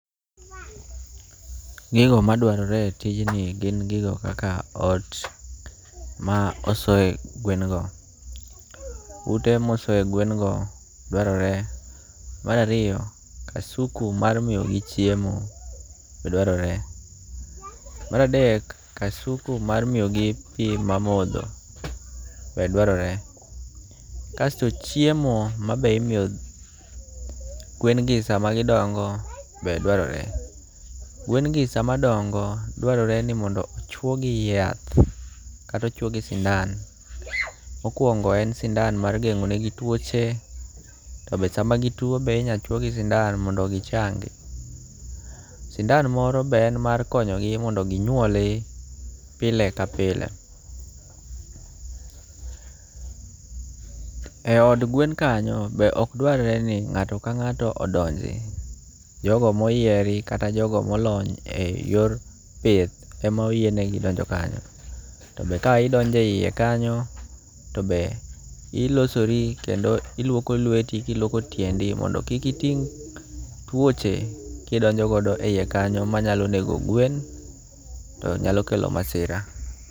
Gigo madwarore e tijni gin gigo kaka ot ma osoye gwen go. Ute mosoye gwen go dwarore. Mar ariyo kasuku mar miyogi chiemo be dwarore. Mara dek, kasuku mar miyogi pi mar modho be dwarore. Kasto chiemo ma be imiyo gwen gi sama gidongo be dwarore. Gwen gi sama dongo dwarore no mondo ochwo gi yath kata ochwo gi sindan. Mokwongo en sindan mar geng'o ne gi twoche. To be sama gitwo be inya chwo gi sindan mondo gichangi. Sindan moro be en mar konyo gi mondo ginyuoli pile ka pile. E od gwen kanyo be ok dwar re ni ng'ato ka ng'ato odonji. Jogo moyieri kata jogo molony e yor pith emoyienegi donjo kanyo. To be ka idonjo e yie kanyo to be ilosori kendo iluoko lweti kiluoko tiendi mondo kik iting' twoche kidonjo godo e yie kanyo manyalo nego gwen to nyalo kelo masira.